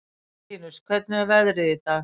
Elentínus, hvernig er veðrið í dag?